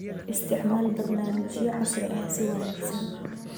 Isticmaal barnaamijyo casri ah si wanagsan.